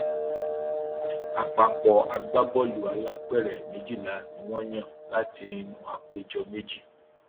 àpapọ agbábọọlù alápèrẹ méjìlá ni wọn yàn látinú àpéjọ méjì